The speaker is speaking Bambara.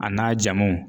A n'a jamuw